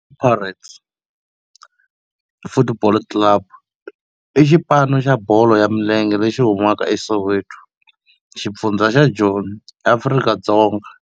Pirates Football Club i xipano xa bolo ya milenge lexi humaka eSoweto, xifundzha xa Joni, Afrika-Dzonga.